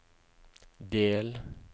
del